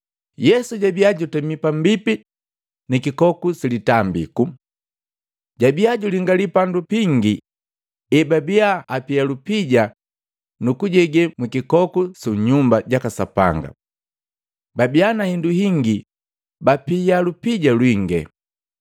Yesu jabia jutami pambipi ni kikoku silitambiku. Jabia julingali bandu bingi ebabia apia lupija nukujegee mwikikoku Sunyumba jaka Sapanga. Babii na indu hingi bapia lupija lwinge.